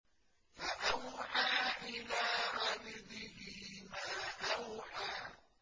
فَأَوْحَىٰ إِلَىٰ عَبْدِهِ مَا أَوْحَىٰ